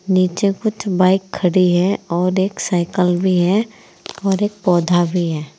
नीचे कुछ बाइक खड़ी है और एक साइकल भी है और एक पौधा भी है।